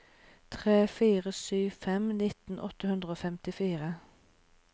tre fire sju fem nitten åtte hundre og femtifire